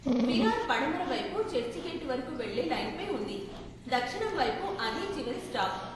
విరార్ పడమర వైపు చర్చిగేటు వరకు వెళ్ళే లైన్పై ఉంది, దక్షిణం వైపు అదే చివరి స్టాప్.